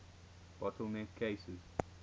bottle neck cases